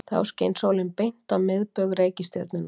Þá skein sólin beint á miðbaug reikistjörnunnar.